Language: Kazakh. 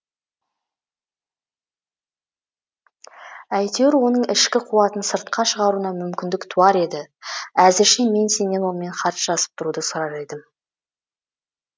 әйтеуір оның ішкі қуатын сыртқа шығаруына мүмкіндік туар еді әзірше мен сенен онымен хат жазысып тұруды сұрар едім